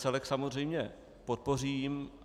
Celek samozřejmě podpořím.